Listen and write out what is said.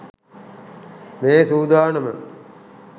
මේ සූදානම.